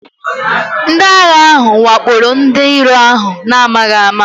Ndị agha ahụ wakporo ndị iro ahụ n'amaghị ama